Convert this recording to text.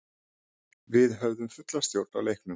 Við höfðum fulla stjórn á leiknum.